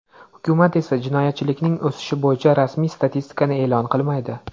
Hukumat esa jinoyatchilikning o‘sishi bo‘yicha rasmiy statistikani e’lon qilmaydi.